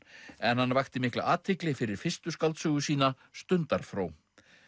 en hann vakti mikla athygli fyrir fyrstu skáldsögu sína Stundarfró